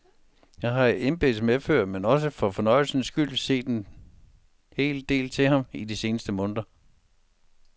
Jeg har i embeds medfør, men også for fornøjelsens skyld, set en hel del til ham i de seneste måneder.